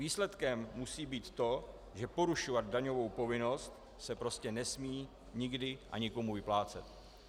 Výsledkem musí být to, že porušovat daňovou povinnost se prostě nesmí nikdy a nikomu vyplácet.